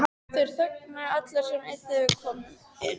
Þeir þögnuðu allir sem einn þegar við komum inn.